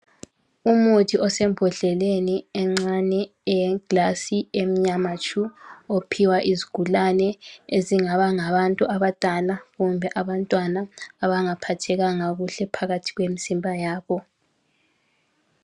Imuthi osembondleleni encane eyeglasi emnyama tshu ophiwa izigulane ezingabangabantu abadala kumbe abantwana abangaphathekanga kuhle phakathi kwemzimba yabo.